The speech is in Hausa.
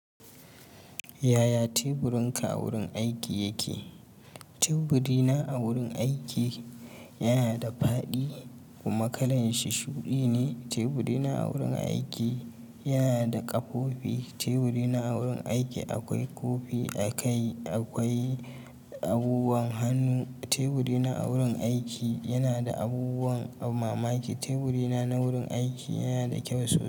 Yaya teburinka wurin aiki yake? Teburina a wurin aiki yana da faɗi kuma kalan shi shuɗi ne. Teburina a wurin aiki yana da ƙafofi. Teburina a wurin aiki akwai kofi a kai. Akwai abubuwan hannu. Teburina a wurin aiki yana da abubuwan mamaki. Teburina na wurin aiki yana da kyau sosai.